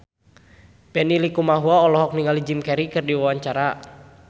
Benny Likumahua olohok ningali Jim Carey keur diwawancara